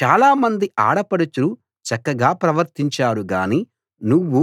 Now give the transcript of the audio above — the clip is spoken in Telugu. చాలామంది ఆడపడుచులు చక్కగా ప్రవర్తించారు గానీ నువ్వు